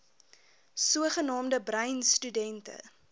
sogenaamde bruin studente